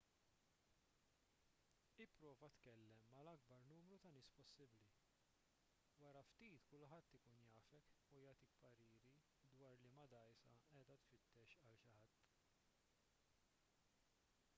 ipprova tkellem mal-akbar numru ta' nies possibbli wara ftit kulħadd ikun jafek u jagħtik pariri dwar liema dgħajsa qiegħda tfittex għal xi ħadd